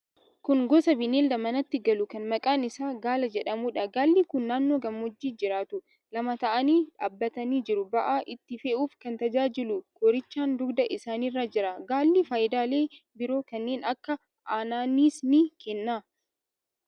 Kun gosa bineelda manatti galuu kan maqaan isaa gaala jedhamuudha. Gaalli kun naannoo gammoojjii jiraatu. Lama ta'anii dhaabbatanii jiru. Ba'aa itti fe'uuf kan tajaajilu koorichaan dugda isaaniirra jira. Gaalli faayidaalee biroo kanneen akka aannaniis ni kenna.